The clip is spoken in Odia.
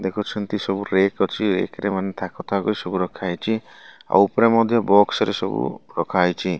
ଦେଖୁଛନ୍ତି ସବୁ ରେକ୍ ଅଛି। ଥାକ ଥାକ ହେଇ ସବୁ ରଖା ହେଇଛି। ଆଉ ଉପରେ ମଧ୍ୟ ବକ୍ସ ରେ ସବୁ ରଖା ହେଇଛି।